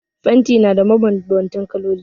Fanti na da mabanbanta kaloli